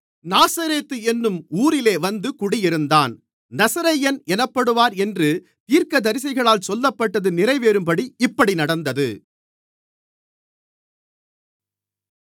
நாசரேத்து என்னும் ஊரிலே வந்து குடியிருந்தான் நசரேயன் எனப்படுவார் என்று தீர்க்கதரிசிகளால் சொல்லப்பட்டது நிறைவேறும்படி இப்படி நடந்தது